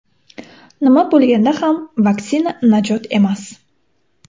Nima bo‘lganda ham vaksina najot emas.